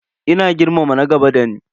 Ina girmama na gaba dani.